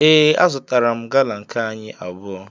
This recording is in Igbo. Ee, azụtara m gala nke anyị abụọ